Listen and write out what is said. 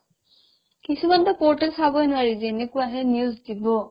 কিছুমানতো portal চাবই নোৱাৰি যেনেকুৱাহে news দিব